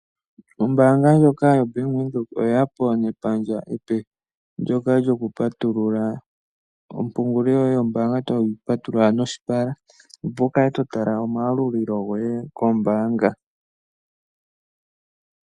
Ombaanga ndjoka yoBank Windhoek oye ya po nepandja ndoka lyoku patulula ompungulilo yoye yombaanga, toyi patululwa noshipala, opo wu kale to tala omayalulilo goye kombaanga.